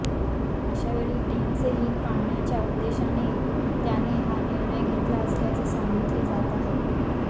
अशा वेळी टीमचे हित पाहण्याच्या उद्देशाने त्याने हा निर्णय घेतला असल्याचे सांगितले जात आहे